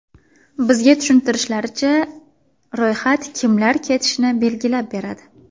Bizga tushuntirishlaricha, ro‘yxat kimlar ketishini belgilab beradi.